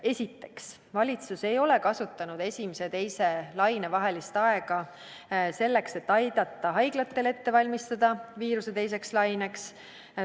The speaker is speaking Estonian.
Esiteks, valitsus ei ole kasutanud esimese ja teise laine vahelist aega selleks, et aidata haiglatel valmistuda viiruse teiseks laineks.